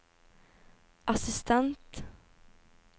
assistent